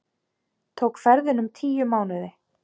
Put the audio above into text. Tók ferðin um tíu mánuði.